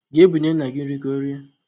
Ga bunye nna gi nri ka orie